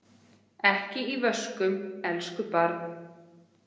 Ekki í vöskum, elsku barn.